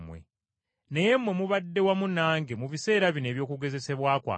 Naye mmwe mubadde wamu nange mu biseera bino eby’okugezesebwa kwange,